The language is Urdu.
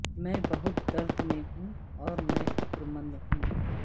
میں بہت درد میں ہوں اور میں فکر مند ہوں